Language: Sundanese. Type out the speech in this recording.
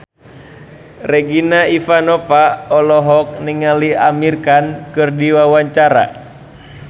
Regina Ivanova olohok ningali Amir Khan keur diwawancara